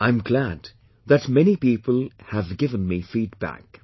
I am glad that many people have given me feedback